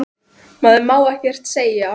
Maður má ekkert segja.